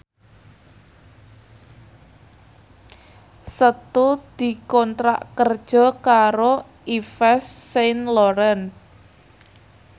Setu dikontrak kerja karo Yves Saint Laurent